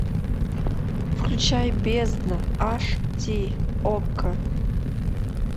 включай бездна аш ди окко